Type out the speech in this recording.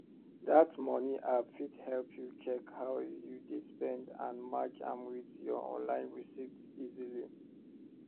that money app fit help you check how you dey spend and match am with your online receipts easily